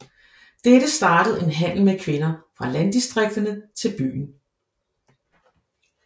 Dette startede en handel med kvinder fra landdistrikterne til byen